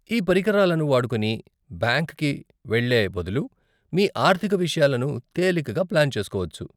ఈ పరికరాలను వాడుకొని, బ్యాంక్కి వెళ్ళే బదులు, మీ ఆర్ధిక విషయాలను తేలికగా ప్లాన్ చేసుకోవచ్చు,